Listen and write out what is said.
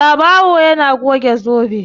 Babawo yana goge zobe.